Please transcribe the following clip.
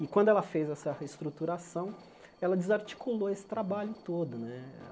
E quando ela fez essa reestruturação, ela desarticulou esse trabalho todo né.